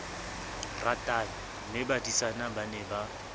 ratane mmebadisana ba ne ba